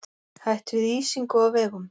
Hætt við ísingu á vegum